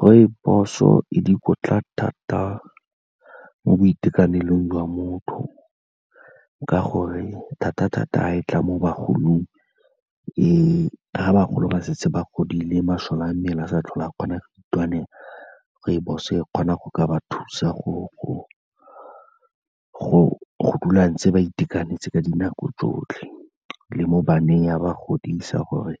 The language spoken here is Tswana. Rooibos-o e dikotla thata mo boitekanelong jwa motho, ka gore thata-thata fa e tla mo bagolong, ga bagolo ba setse ba godile masole a mmele ga sa tlhola a kgona go itwanela, rooibos-o e kgona go ka ba thusa go dula ntse ba itekanetse ka dinako tsotlhe, le mo baneng ya ba godisa, gore